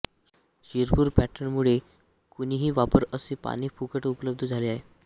शिरपूर पॅटर्नमुळे कुणीही वापरा असे पाणी फुकट उपलब्ध झाले आहे